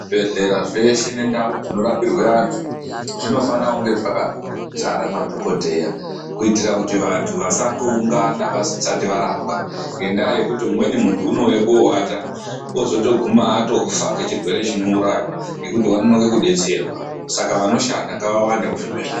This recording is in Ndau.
Zvibhedhlera zveshe nendau dzinorapirwe vanthu zvinofanira kunge zvakazara madhokodheya kuitira vanthu vasangoungana vasati varapwa ngandaa yekuti umweni munthu unouye koowata ozotoguma atofa ngechirwere chinouraya ngekuti wanonoke kudetserwa saka vanoshanda ngavawande muzvibhedhlera.